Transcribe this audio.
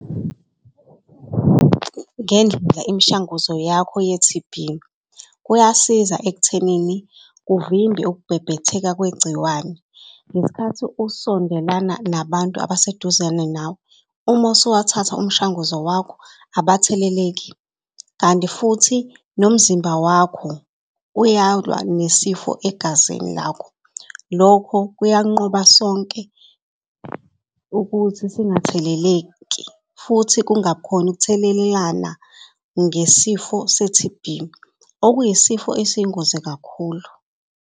Ngendlela imishanguzo yakho ye-T_B kuyasiza ekuthenini kuvimbe ukubhebhetheka kwegciwane ngesikhathi usondelana nabantu abaseduzane nawe. Uma usuwathatha umshanguzo wakho abatheleleki, kanti futhi nomzimba wakho uyalwa nesifo egazini lakho. Lokho kuyanqoba sonke ukuthi singatheleleki futhi kungabi khona ukuthelelana ngesifo se-T_B, okuyisifo esiyingozi kakhulu.